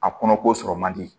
A kɔnɔ ko sɔrɔ man di